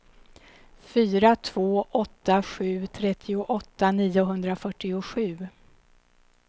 fyra två åtta sju trettioåtta niohundrafyrtiosju